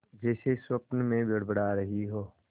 जैसे स्वप्न में बड़बड़ा रही हो